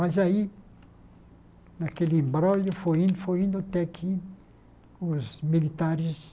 Mas aí, naquele embrólho, foi indo foi indo até que os militares